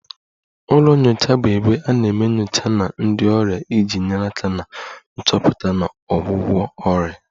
Ụlọ nyocha bụ ebe a na-eme nyocha na ndị ọrịa iji nyere aka na nchọpụta na ọgwụgwọ ọrịa